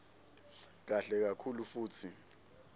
kahle kakhulu futsi